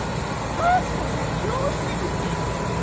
En hvað segja kjósendur?